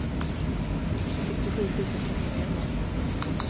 sextiosju tusen sexhundraelva